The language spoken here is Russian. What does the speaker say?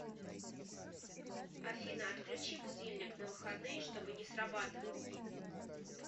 афина отключи будильник на выходные чтобы не срабатывал